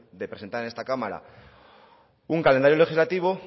de presentar en esta cámara un calendario legislativa